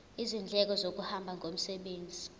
izindleko zokuhamba ngomsebenzi